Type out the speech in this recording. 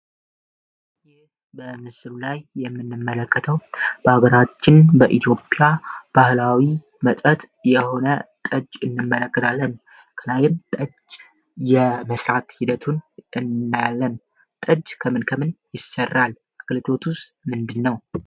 ይህ በምስሉ ላይ የምንመለከተው በአገራችን በኢትዮጵያ ባህላዊ መጠት የሆነ ጠጅ እንመለከታለን። ከላይም ጠጅ የመስራት ሂደቱን እናያለን፤ ጠጅ ከምንከምን ይሰራል አገልግሎቱስ ምንድን ነው?